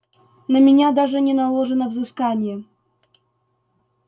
на меня даже не наложено взыскание